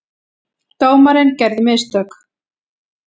Dómarinn gerði mistök.